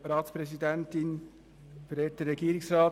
Kommissionspräsident der GSoK.